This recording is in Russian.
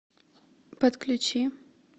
подключи